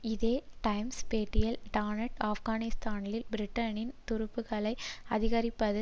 இதே டைம்ஸ் பேட்டியில் டான்னட் ஆப்கானிஸ்தானில் பிரிட்டனின் துருப்புக்களை அதிகரிப்பது